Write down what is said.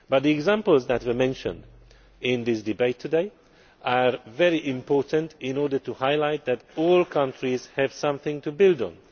The examples that have been mentioned in this debate today are very important in order to highlight the fact that all countries have something to build on.